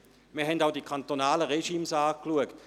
Wir haben auch die kantonalen Regimes angeschaut.